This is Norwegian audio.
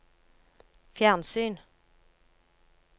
fjernsyn